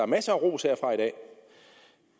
masser af ros herfra i dag